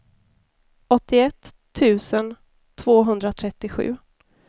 åttioett tusen tvåhundratrettiosju